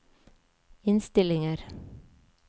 innstillinger